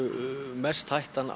mesta hættan